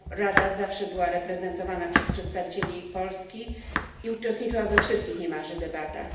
Rada zawsze była reprezentowana przez przedstawicieli Polski i uczestniczyła niemalże we wszystkich debatach.